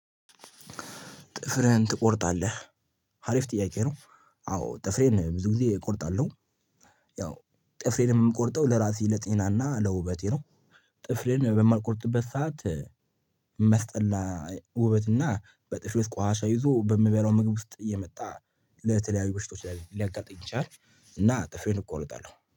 ጥፍህን ትቆርጣለህ? ሀሪፍ ጥያቄ ነው። አዎ ጥፍሬን ብዙ ጊዜ እቆርጣለሁ። ያው ጥፍሬን የምቆርጠው ለራሴ ለጤናና ለውበቴ ነው። ጥፍሬን በማልቆርጥበት ሰዓት እሚስጠላ። ውበትና በጥሬ ውስጥ ቋኣሻ ይዞ በምበላው ምግብ ውስጥ እየመጣ ለተለያዩ በሽቶች ሊያጋልጥ ይችላል። እና ጥፍሬን እቆርጣለሁ